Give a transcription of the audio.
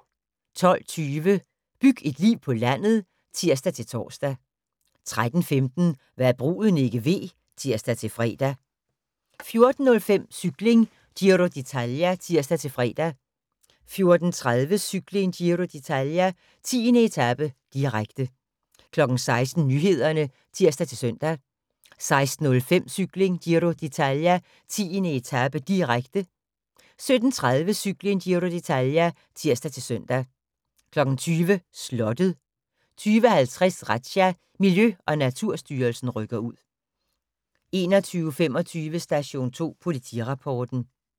12:20: Byg et liv på landet (tir-tor) 13:15: Hva' bruden ikke ved (tir-fre) 14:05: Cykling: Giro d'Italia (tir-fre) 14:30: Cykling: Giro d'Italia - 10. etape, direkte, direkte 16:00: Nyhederne (tir-søn) 16:05: Cykling: Giro d'Italia - 10. etape, direkte, direkte 17:30: Cykling: Giro d'Italia (tir-søn) 20:00: Slottet 20:50: Razzia – Miljø- og Naturstyrelsen rykker ud 21:25: Station 2 Politirapporten